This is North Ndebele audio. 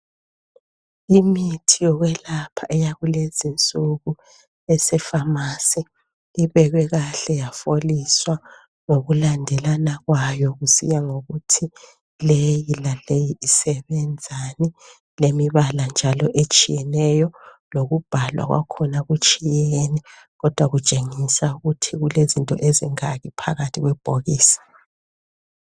Imithi yokwelapha yakulezi insuku esefamasi ibekwe kahle yafoliswa ngokulandelana kwayo kusiya ngokuthi leyi laleyi isebenzani ilemibala njalo etshiyeneyo lokubhalwa kwakhona kutshiyene kodwa kutshengisa ukuthi kukezinto ezingaki phakathi kwebhokisi.